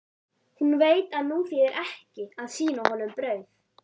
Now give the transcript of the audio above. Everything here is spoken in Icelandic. Hún veit að nú þýðir ekki að sýna honum brauð.